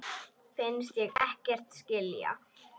Finnst ég ekkert skilja.